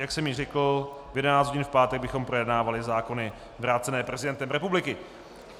Jak jsem již řekl, v 11 hodin v pátek bychom projednávali zákony vrácené prezidentem republiky.